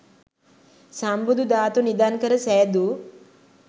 සම්බුදු ධාතු නිධන් කර සෑදූ